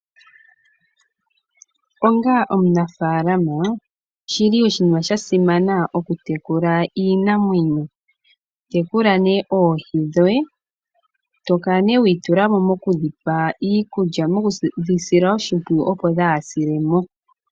Onga omunafaalama oshili oshinima sha simana oku tekula iinamwenyo. Tekula nee oohi dhoye. Etokala nee wiitulamo mokudhi pa iikulya noku dhi sila oshimpwiyu opo kaadhi se.